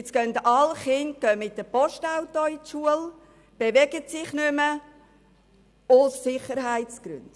Nun gehen alle Kinder mit dem Postauto zur Schule und bewegen sich nicht mehr, aus Sicherheitsgründen.